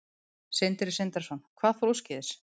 Sindri Sindrason: Hvað fór úrskeiðis?